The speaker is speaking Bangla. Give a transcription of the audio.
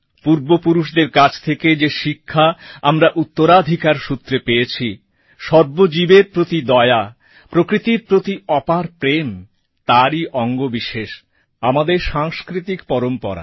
পূর্বপুরুষদের কাছ থেকে যে শিক্ষা আমরা উত্তরাধিকার সূত্রে পেয়েছি সর্বজীবের প্রতি দয়া প্রকৃতির প্রতি অপার প্রেম তারই অঙ্গ বিশেষ আমাদের সাংস্কৃতিক পরম্পরা